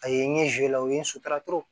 A ye n ye la o ye n sotraw